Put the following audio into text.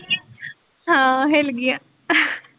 ਹਾਂ ਹਿੱਲ ਗਈ ਆ .